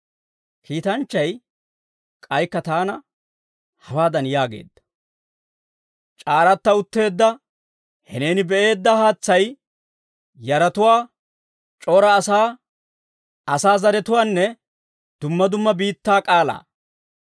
Kiitanchchay k'aykka taana hawaadan yaageedda; «C'aaratta utteedda he neeni be'eedda haatsay yaratuwaa, c'ora asaa, asaa zaratuwaanne dumma dumma biittaa k'aalaa.